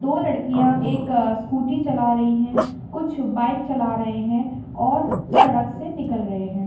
दो लड़किया एक अ स्कूटी चला रही है कुछ बाइक चला रहे है और सड़क से निकल रही है।